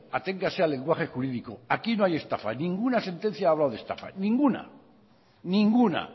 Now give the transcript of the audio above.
aténgase al lenguaje jurídico aquí no hay estafa ninguna sentencia ha hablado de estafa ninguna ninguna